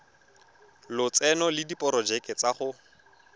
lotseno le diporojeke tsa go